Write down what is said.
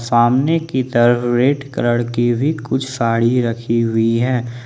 सामने की तरफ रेड कलर की भी कुछ साड़ी रखी हुई है।